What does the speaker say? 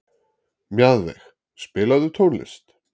Mjaðveig, spilaðu tónlist.